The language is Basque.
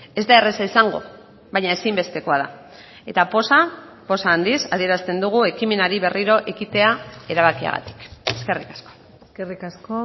ez da erraza izango baina ezinbestekoa da eta poza poz handiz adierazten dugu ekimenari berriro ekitea erabakiagatik eskerrik asko eskerrik asko